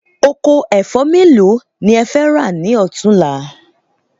Oko ẹ̀fọ́ mélòó ni ẹ fẹ́ rà ni ọ̀túnla